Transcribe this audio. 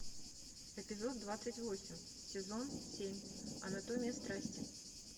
эпизод двадцать восемь сезон семь анатомия страсти